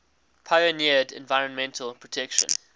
pioneered environmental protection